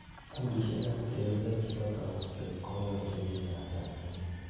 kundisiek ab terunet chebo somset konyoljin biik ab Tanzania